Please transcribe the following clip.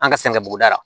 An ka san kɛ buguda la